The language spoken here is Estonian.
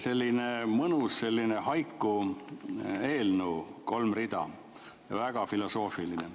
Selline mõnus haikulik eelnõu, kolm rida, väga filosoofiline.